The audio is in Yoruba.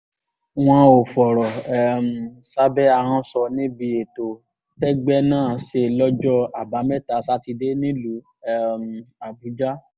wọn ò fọ̀rọ̀ um sábẹ́ ahọ́n sọ níbi ètò tẹ́gbẹ́ náà ṣe lọ́jọ́ àbámẹ́ta sátidé nílùú um àbújá